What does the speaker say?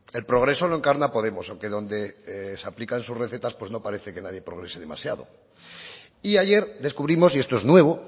el progreso lo encarna podemos aunque donde se aplican sus recetas pues no parece que nadie progrese demasiado y ayer descubrimos y esto es nuevo